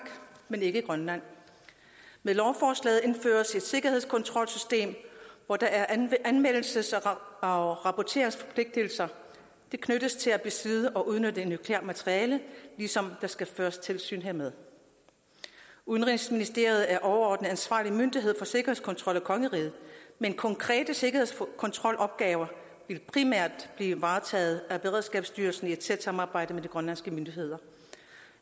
men ikke i grønland med lovforslaget indføres et sikkerhedskontrolsystem hvor der er anmeldelses og rapporteringsforpligtelser og det knyttes til at besidde og udnytte nukleart materiale ligesom der skal føres tilsyn hermed udenrigsministeriet er overordnet ansvarlig myndighed for sikkerhedskontrol i kongeriget men konkrete sikkerhedskontrolopgaver vil primært blive varetaget af beredskabsstyrelsen i et tæt samarbejde med de grønlandske myndigheder